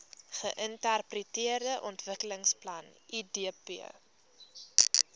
geintegreerde ontwikkelingsplan idp